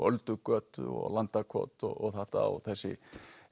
Öldugötu og Landakot og þetta og þessi